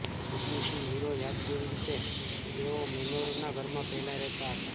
ઊર્મિશીલ hero યાદ કેવી રીતે તેઓ મેનોરનો ઘરમાં પહેલાં રહેતા હતા